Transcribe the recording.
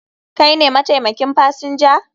Kai ne mataimakin fasinja?